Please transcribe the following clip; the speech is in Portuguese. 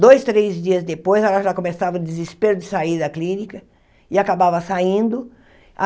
Dois, três dias depois, ela já começava a desespero de sair da clínica e acabava saindo.